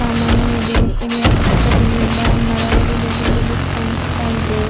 ಸಾಮಾನು ಇದೆ ಇಲ್ಲಿ ಅಕ್ಕ ಪಕ್ಕದಲ್ಲಿ ಎಲ್ಲ ಮರಗಳು ದೊಡ್ಡ ದೊಡ್ಡದು ಕಾಣಿಸ್ತಾ ಇದೆ.